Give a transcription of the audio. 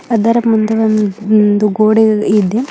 ಅದರ ಮುಂದೆ ಒನ್ ಒಂದು ಗೋಡೆ ಇದೆ.